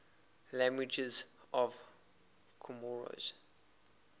languages of comoros